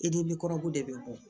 E de ni kɔrɔgu de bɛ bɔ